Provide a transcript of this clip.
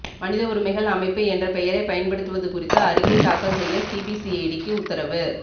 மனித உரிமைகள் அமைப்பு என்ற பெயரை பயன்படுத்துவது குறித்து அறிக்கை தாக்கல் செய்ய சிபிசிஐடிக்கு உத்தரவு